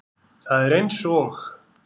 Það er eins og